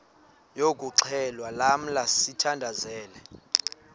yokuxhelwa lamla sithandazel